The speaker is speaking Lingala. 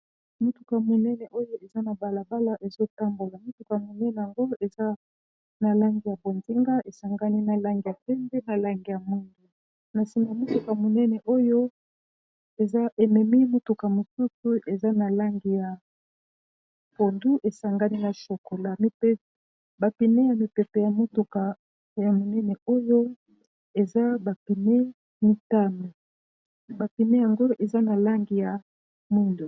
Motuka monene oyo eza na balabala ezotambola motuka monene yango eza na langi ya bonzinga esangani na langi ya pembe na langi ya mwindu na nsima motuka monene oyo eza ememi motuka mosusu eza na langi ya pondu esangani na chokola ba pneu ya mipepe ya motuka ya monene oyo eza ba pneu mitano ba pneu yango eza na langi ya mwindu.